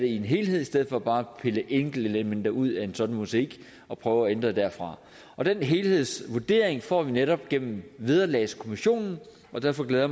i en helhed i stedet for bare at pille enkeltelementer ud af en sådan mosaik og prøve at ændre det derfra den helhedsvurdering får vi netop gennem vederlagskommissionen og derfor glæder